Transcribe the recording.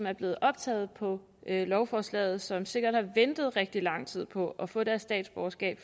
er blevet optaget på lovforslaget som sikkert har ventet i rigtig lang tid på at få deres statsborgerskab